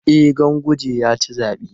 E, Ganguje ya ci zaɓen.